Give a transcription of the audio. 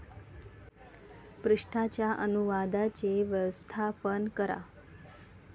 पृष्ठाच्या अनुवादाचे व्यवस्थापन करा